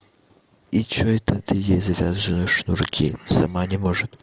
и что это ты ей зря завязываешь шнурки сама не может